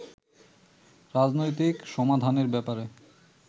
রাজনৈতিক সমাধানের ব্যাপারে